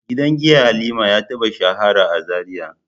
Gidan giya Halima ya taba shahara a Zaria.